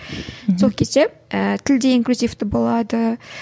сол кезде ііі тіл де инклюзивті болады